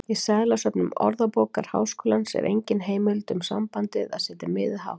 Í seðlasöfnum Orðabókar Háskólans er engin heimild um sambandið að setja miðið hátt.